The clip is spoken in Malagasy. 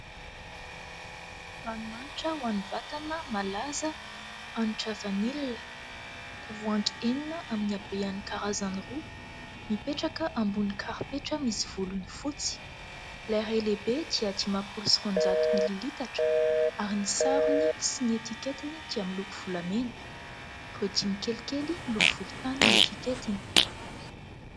Ranomanitra ho any vatana malaza, hanitra vanilina. Tavoahangy enina amin'ny habehan'ny karazany roa mipetraka ambony karipetra misy volony fotsy ; ilay iray lehibe dia dimampolo sy roanjato mililitatra ary ny sarony sy ny etiketiny dia miloko volamena ireo dimy kelikely miloko volontany ny etiketiny.